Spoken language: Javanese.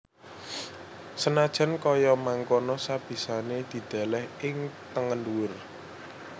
Senajan kaya mangkono sabisané didèlèh ing tengen dhuwur